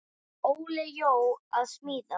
Er Óli Jó að smíða?